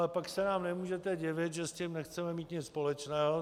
A pak se nám nemůžete divit, že s tím nechceme mít nic společného.